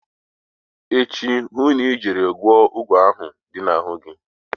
Echi hụ na ị jere gwọọ ụgwọ ahụ dị na-ahụ gi.